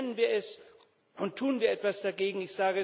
Benennen wir es und tun wir etwas dagegen.